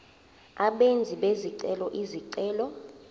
abenzi bezicelo izicelo